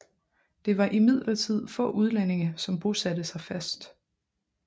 Det var imidlertid få udlændinge som bosatte sig fast